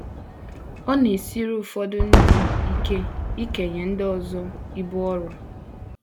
Ọ na - esiri ụfọdụ ndị ike ikenye ndị ọzọ ibu ọrụ.